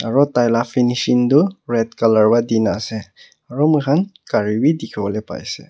aru tar laga finishing tu red colour para Dina ase aru moi khan gari bhi dekhi bole paise.